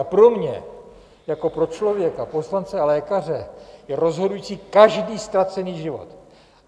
A pro mě jako pro člověka, poslance a lékaře je rozhodující každý ztracený život.